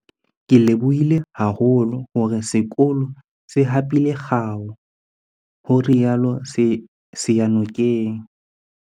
Ke lebohile haholo hore sekolo se hapile kgao, ho rialo Seyanokeng.